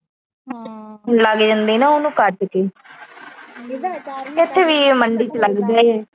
ਲੱਗ ਜਾਂਦੀ ਆ ਨਾ ਉਹਨੂੰ ਕੱਟ ਕੇ। ਇੱਥੇ ਵੀ ਮੰਡੀ ਚ ਲੱਗਦਾ ਆ।